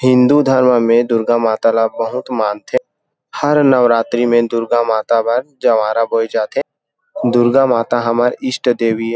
हिन्दू धर्म में दुर्गा माता ला बहुत मानथे हर नवरात्री में दुर्गा माता पर जवारा बोए जाथे दुर्गा माता हमर ईस्ट देवी ये ।